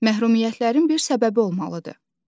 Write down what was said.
Məhrumiyyətlərin bir səbəbi olmalıdır.